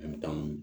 An bɛ taa